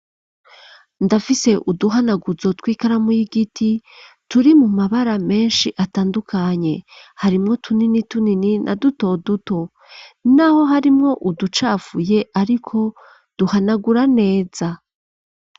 Ndafise uduhanaguzo tw'ikaramu y'igiti turi mu mabara menshi atandukanye: harimwo tunini tunini na duto duto. N'aho harimwo uducafuye ariko duhanagura neza.